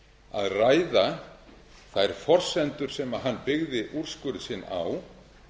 að ræða þær forsendur sem hann byggði úrskurð sinn á